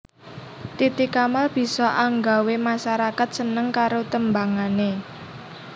Titi Kamal bisa anggawé masarakat seneng karo tembangané